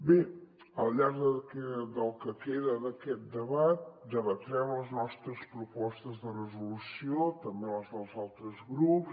bé al llarg del que queda d’aquest debat debatrem les nostres propostes de resolució també les dels altres grups